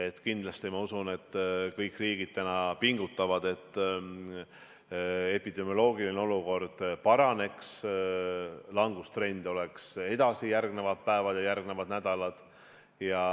Ma kindlasti usun, et kõik riigid pingutavad, et epidemioloogiline olukord paraneks, langustrend kestaks edasi järgnevad päevad ja nädalad.